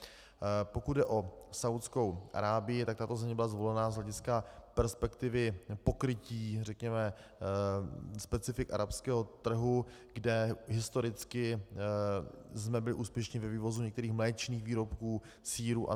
Pokud jde o Saúdskou Arábii, tak tato země byla zvolena z hlediska perspektivy pokrytí řekněme specifik arabského trhu, kde historicky jsme byli úspěšní ve vývozu některých mléčných výrobků, sýrů atd.